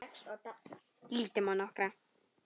Lítum á nokkra.